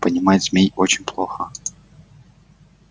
понимать змей очень плохо